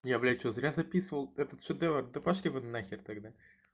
я блядь что зря записывал этот шедевр да пошли вы нахер тогда